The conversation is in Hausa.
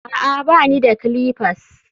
a'a, ba ni da clippers